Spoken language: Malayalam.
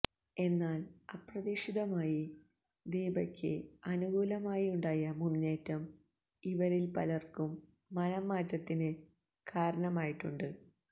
എന്നാല് അപ്രതീക്ഷിതമായി ദീപക്ക് അനുകൂലമായിയുണ്ടായ മുന്നേറ്റം ഇവരില് പലര്ക്കും മനഃ മാറ്റത്തിന് കാരണമായിട്ടുണ്ട്